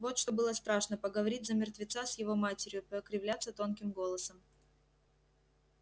вот что было страшно поговорить за мертвеца с его матерью покривляться тонким голосом